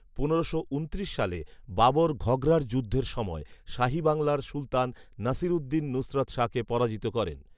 পনেরোশো উনত্রিশ সালে, বাবর ঘঘরার যুদ্ধ সময় শাহী বাংলার সুলতান নাসিরউদ্দিন নুসরত শাহকে পরাজিত করেন